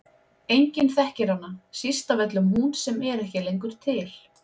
Enginn þekkir hana, síst af öllum hún sem er ekki lengur til.